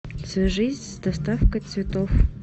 свяжись с доставкой цветов